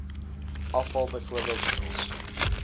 afval bv middels